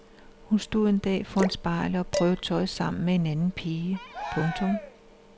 Hun stod en dag foran spejlet og prøvede tøj sammen med en anden pige. punktum